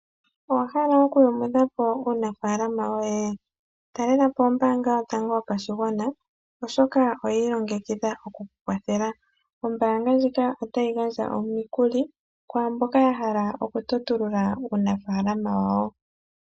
Owa hala okuyumudha po uunafaalama woye? Talela po ombaanga yotango yopashigwana, oshoka oyi ilongekidha oku ku kwathela. Ombaanga ndjika otayi gandja omikuli kwaa mboka ya hala okutotulula uunafaalama wawo.